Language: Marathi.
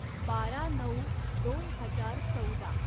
बारा नऊ दोन हजार चौदा